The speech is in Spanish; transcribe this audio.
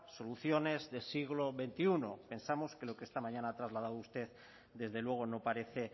soluciones de siglo veintiuno pensamos que lo que esta mañana ha trasladado usted desde luego no parece